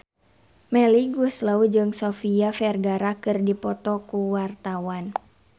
Melly Goeslaw jeung Sofia Vergara keur dipoto ku wartawan